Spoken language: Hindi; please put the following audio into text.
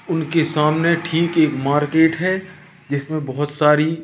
उनके सामने ठीक एक मार्केट है जिसमें बहोत सारी--